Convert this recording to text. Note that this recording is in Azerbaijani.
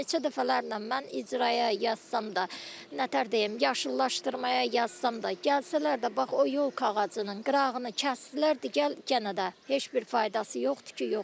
Neçə dəfələrlə mən icraya yazsam da, nətər deyim, yaşıllaşdırmaya yazsam da, gəlsələr də, bax o yolka ağacının qırağını kəsdilər, gəl yenə də heç bir faydası yoxdur ki, yoxdur.